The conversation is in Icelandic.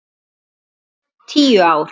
Jæja, tíu ár.